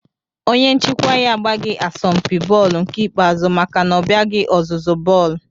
Onye nchịkwa ya agbaghị asọmpi bọọlụ nke ikpeazụ maka na ọ bịaghị ọzụzụ bọọlụ